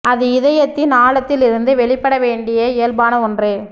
அது இதயத்தின் ஆழத்தில் இருந்து வெளிப்பட வேண்டிய இயல்பான ஒன்று